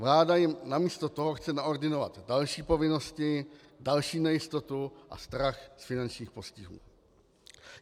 Vláda jim namísto toho chce naordinovat další povinnosti, další nejistotu a strach z finančních postihů.